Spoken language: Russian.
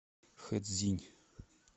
хэцзинь